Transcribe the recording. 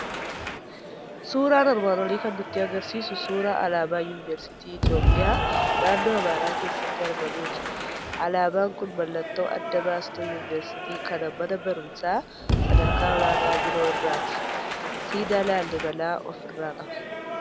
Suuraan armaan olii kan nutti argisiisu suuraa alaabaa Yuunivesiitii I toophiyaa naannoo Amaaraa keessatti argamuuti. Alaabaan kun mallattoo adda baastuu yuuniversiitii kana mana barumsaa sadarkaa olaanaa biroo irraati. Siidaa Laalliibelaa ofirraa qaba.